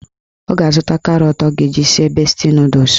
Ọ ga-azụta karọt ọ ga-eji sie besti nọdụs